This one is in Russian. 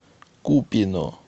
купино